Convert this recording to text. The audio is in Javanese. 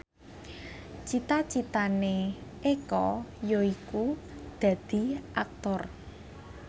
cita citane Eko yaiku dadi Aktor